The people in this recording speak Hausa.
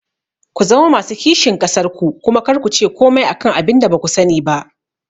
Ku zama masu kishin ƙasar ku kuma kar kuce komai akan abinda baku sani ba